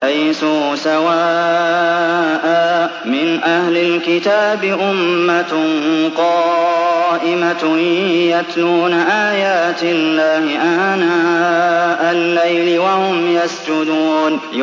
۞ لَيْسُوا سَوَاءً ۗ مِّنْ أَهْلِ الْكِتَابِ أُمَّةٌ قَائِمَةٌ يَتْلُونَ آيَاتِ اللَّهِ آنَاءَ اللَّيْلِ وَهُمْ يَسْجُدُونَ